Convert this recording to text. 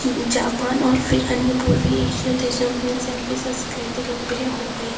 Japan और फिर अन्य पूर्वी एसियो देशों में सेल्भी